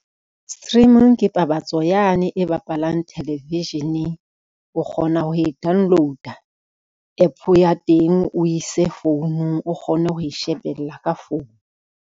Streaming ke pabatso yane e bapalang television-eng. O kgona ho e download-a app ya teng o ise founung, o kgone ho e shebella ka founu.